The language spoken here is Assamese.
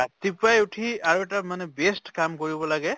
ৰাতিপৱাই উঠি আৰু এটা মানে best কাম কৰিব লাগে